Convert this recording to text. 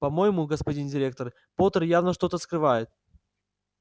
по-моему господин директор поттер явно что-то скрывает